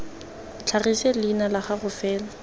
tlhagise leina la gago fela